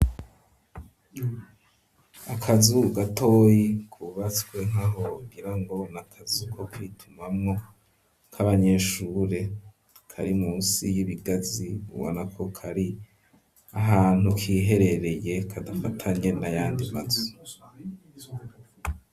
Akazu gatoyi kubatswe nkaho wagirango nakazu ko kwitumamwo k'abanyeshure kari munsi y'ibigazi ubona ko kari ahantu kiherereye kadafatanye n'ayandi mazu.